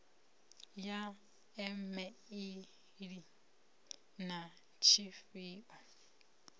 ya e meili na tshifhio